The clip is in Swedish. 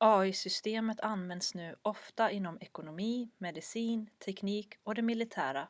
ai-systemet används nu ofta inom ekonomi medicin teknik och det militära